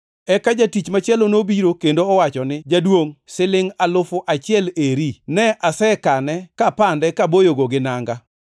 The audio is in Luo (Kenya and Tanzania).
“Eka jatich machielo nobiro kendo owacho ni, ‘Jaduongʼ, silingʼ alufu achiel eri, ne asekane kapande kaboyogo gi nanga.